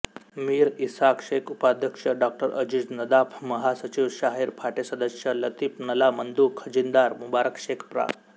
मीर इसहाक शेखउपाध्यक्ष डॉ अजीज नदाफमहासचिव शाहीर फाटेसदस्य लतीफ नल्लामंदूखजिनदार मुबारक शेख प्रा